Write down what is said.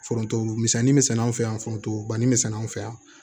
Foronto misɛnnin misɛn an fɛ yan foronto banni bɛ sɛnɛ anw fɛ yan